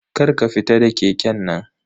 Kar ka fita da keken nan.